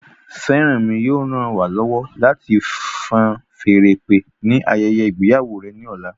Feranmi yóò ràn wá lọwọ láti fan feèrè ìpè ni ayẹyẹ ìgbéyàwó rẹ ní ọ̀la